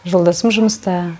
жолдасым жұмыста